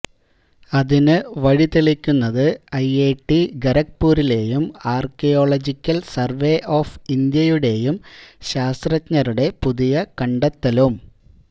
അതിന് വഴി തെളിക്കുന്നത് ഐഐടി ഖരഗ്പൂരിലേയും ആര്ക്കിയോളജിക്കല് സര്വേ ഓഫ് ഇന്ത്യയുടേയും ശാസ്ത്രജ്ഞരുടെ പുതിയ കണ്ടെത്തലും